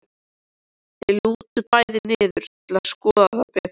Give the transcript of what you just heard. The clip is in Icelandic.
Þau lúta bæði niður til að skoða það betur.